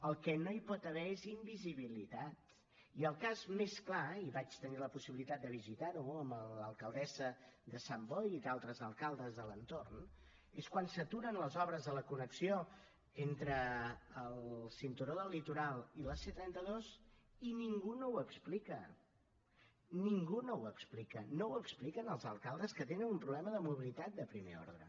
el que no hi pot haver és invisibilitat i el cas més clar i vaig tenir la possibilitat de visitar ho amb l’alcaldessa de sant boi i d’altres alcaldes de l’entorn és quan s’aturen les obres a la connexió entre el cinturó del litoral i la c trenta dos i ningú no ho explica ningú no ho explica no ho expliquen als alcaldes que tenen un problema de mobilitat de primer ordre